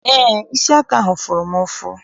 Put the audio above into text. Eé, isi aka ahụ fụrụ m ụfụ.